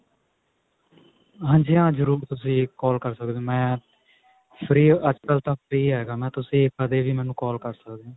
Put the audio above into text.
ਹਾਂਜੀ ਹਾਂ ਜਰੁਰ ਤੁਸੀਂ call ਕਰ ਸਕਦੇ ਹੋ ਮੈਂ free ਅੱਜਕਲ ਤਾਂ free ਤੁਸੀਂ ਕਦੇ ਵੀ ਮੈਨੂੰ call ਕਰ ਸਕਦੇ ਹੋ